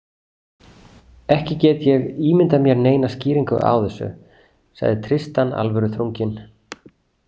Ekki get ég ímyndað mér neina skýringu á þessu, sagði Tristan alvöruþrunginn.